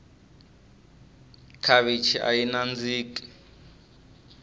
khavichi ayi nandziki